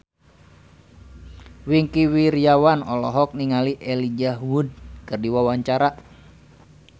Wingky Wiryawan olohok ningali Elijah Wood keur diwawancara